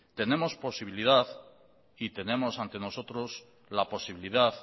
tenemos posibilidad y tenemos ante nosotros la posibilidad